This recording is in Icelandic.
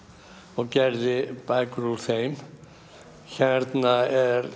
og gerði bækur úr þeim hérna er